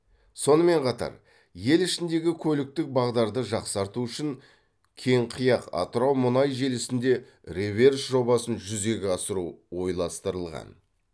сонымен қатар ел ішіндегі көліктік бағдарды жақсарту үшін кеңқияқ атырау мұнай желісінде реверс жобасын жүзеге асыру ойластырылған